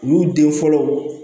U y'u den fɔlɔ